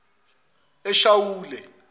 eshawule